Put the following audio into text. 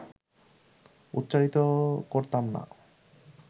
উচ্চারিত করতাম না